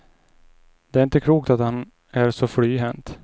Det är inte klokt att han är så flyhänt.